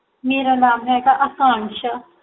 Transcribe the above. ਮੇਰਾ ਨਾਮ ਹੈਗਾ ਅਕਾਨਸ਼ਾ